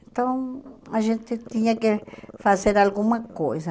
Então a gente tinha que fazer alguma coisa.